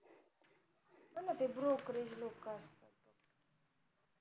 brokerage लोक असतात